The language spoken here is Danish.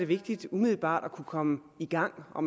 vigtigt umiddelbart at kunne komme i gang og